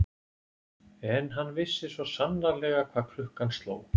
En hann vissi svo sannarlega hvað klukkan sló.